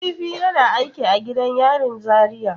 Nazifi yana aiki a gidan yarin Zaria.